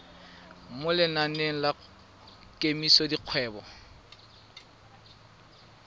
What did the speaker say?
mo lenaneng la kemiso dikgwedi